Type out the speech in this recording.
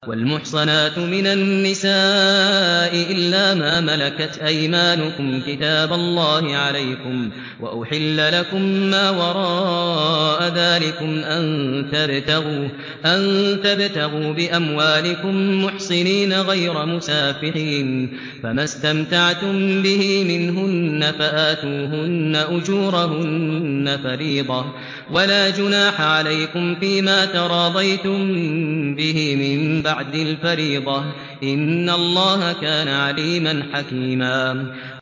۞ وَالْمُحْصَنَاتُ مِنَ النِّسَاءِ إِلَّا مَا مَلَكَتْ أَيْمَانُكُمْ ۖ كِتَابَ اللَّهِ عَلَيْكُمْ ۚ وَأُحِلَّ لَكُم مَّا وَرَاءَ ذَٰلِكُمْ أَن تَبْتَغُوا بِأَمْوَالِكُم مُّحْصِنِينَ غَيْرَ مُسَافِحِينَ ۚ فَمَا اسْتَمْتَعْتُم بِهِ مِنْهُنَّ فَآتُوهُنَّ أُجُورَهُنَّ فَرِيضَةً ۚ وَلَا جُنَاحَ عَلَيْكُمْ فِيمَا تَرَاضَيْتُم بِهِ مِن بَعْدِ الْفَرِيضَةِ ۚ إِنَّ اللَّهَ كَانَ عَلِيمًا حَكِيمًا